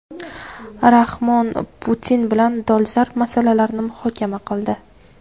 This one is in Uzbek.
Rahmon Putin bilan dolzarb masalalarni muhokama qildi.